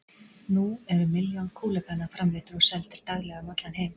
nú eru milljónir kúlupenna framleiddir og seldir daglega um allan heim